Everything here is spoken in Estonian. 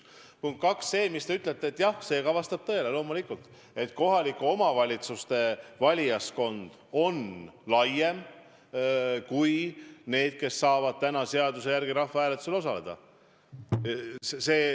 Punkt 2: jah, see vastab loomulikult tõele, et kohalike omavalitsuste valijaskond on laiem kui see kontingent, kes saab seaduse järgi rahvahääletusel osaleda.